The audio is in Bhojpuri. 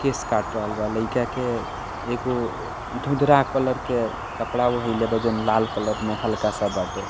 केश काट रहल बा लईका के एगो धुंधरा कलर के कपड़ा ओढ़ैले बा जौन लाल कलर में हल्का सा बाटे।